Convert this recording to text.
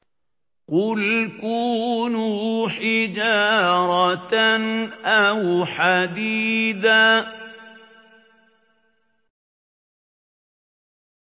۞ قُلْ كُونُوا حِجَارَةً أَوْ حَدِيدًا